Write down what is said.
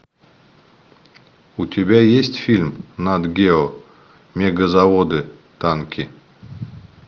у тебя есть фильм нат гео мегазаводы танки